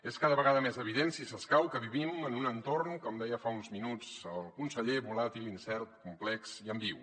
és cada vegada més evident si s’escau que vivim en un entorn com deia fa uns minuts el conseller volàtil incert complex i ambigu